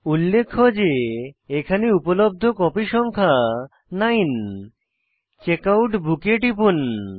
উল্লেখ্য যে উপলব্ধ কপি সংখ্যা হল 9 চেকআউট বুক এ টিপুন